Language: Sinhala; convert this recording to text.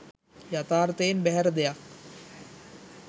යථාර්ථයෙන් බැහැර දෙයක්